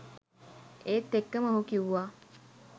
ඒත් එක්කම ඔහු කිව්වා